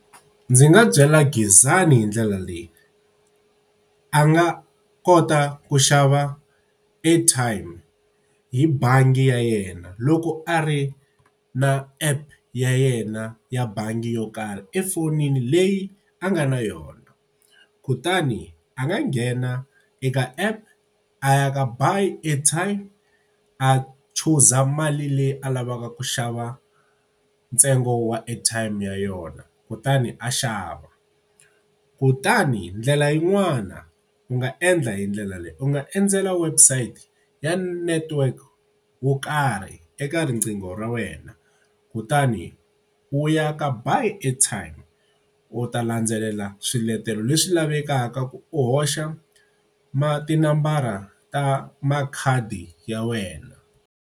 Ndzi nga byela Gezani hi ndlela leyi, a nga kota ku xava airtime hi bangi ya yena loko a ri na app ya yena ya bangi yo karhi, efonini leyi a nga na yona. Kutani a nga nghena eka app, a ya ka ba airtime, a chuza mali leyi a lavaka ku xava ntsengo wa airtime ya yona, kutani a xava. Kutani ndlela yin'wana u nga endla hi ndlela leyi, u nga endzela website ya network yo karhi eka riqingho ra wena kutani u ya ka ba airtime, u ta landzelela swiletelo leswi lavekaka ku u hoxa tinambara ta makhadi ya wena.